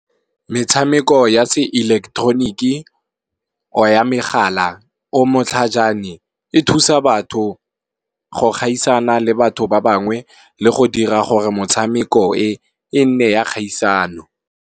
Metshameko ya se ilektroniki or ya megala o motlhajane e thusa batho, go gaisana le batho ba bangwe le go dira gore motshameko e e nne ya kgaisano.